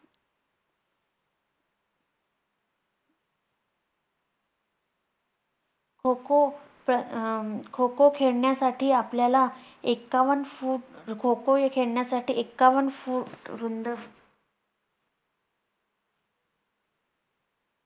खो खो अं खो खो खेळण्यासाठी आपल्याला ऐकावन्न फूट खो खो हे खेळण्यासाठी ऐकावन्न फूट रुंद